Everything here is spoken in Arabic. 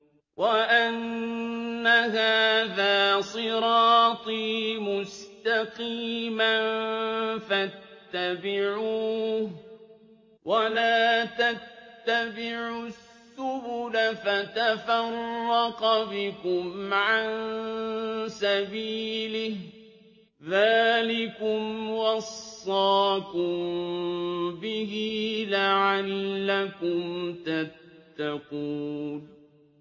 وَأَنَّ هَٰذَا صِرَاطِي مُسْتَقِيمًا فَاتَّبِعُوهُ ۖ وَلَا تَتَّبِعُوا السُّبُلَ فَتَفَرَّقَ بِكُمْ عَن سَبِيلِهِ ۚ ذَٰلِكُمْ وَصَّاكُم بِهِ لَعَلَّكُمْ تَتَّقُونَ